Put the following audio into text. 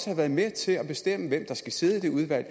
har været med til at bestemme hvem der skal sidde i det udvalg og